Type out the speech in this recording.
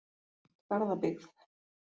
Garðabyggð